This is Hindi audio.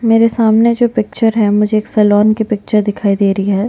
मेरे सामने जो पिक्चर है मुझे एक सैलून का पिक्चर दिखाई दे रही है।